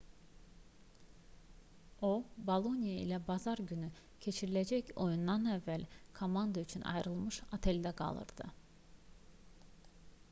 o boloniya ilə bazar günü keçiriləcək oyundan əvvəl komanda üçün ayrılmış oteldə qalırdı